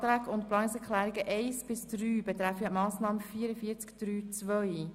Die Planungsanträge und Planungserklärungen 1 bis 3 betreffen die Massnahme 44.3.2.